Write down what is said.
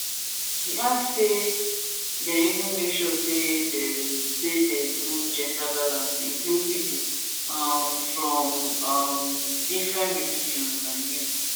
e add say dem even make sure say dem say dem do gender balance include pipo um from um different religion and youths